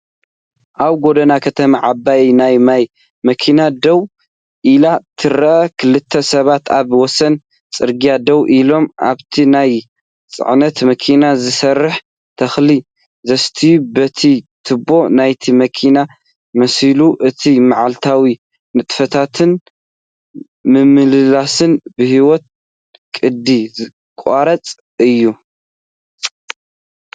ኣብ ጎደና ከተማ ዓባይ ናይ ማይ መኪና ደው ኢላ ትረአ። ክልተ ሰባት ኣብ ወሰን ጽርግያ ደው ኢሎም ኣብታ ናይ ጽዕነት መኪና ዝሰርሑ ተኽሊ ዘስትዩ በቲ ትቦ ናይታ መኪናይመስሉ። እቲ መዓልታዊ ንጥፈታትን ምምልላስን ብህያው ቅዲ ዝተቐረጸ እዩ።